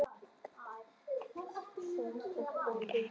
þristur, nía eða heitir þú kannski bara Guðný?